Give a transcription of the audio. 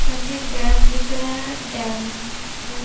सामने एक डैम दिख रहा है डेम में--